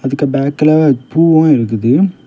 இதுக்கு பேக்ல பூவும் இருக்குது.